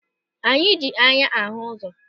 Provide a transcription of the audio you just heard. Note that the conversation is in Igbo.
Anyị ji anya ahụ ụzọ.